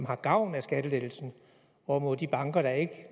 har gavn af skattelettelsen hvorimod de banker der ikke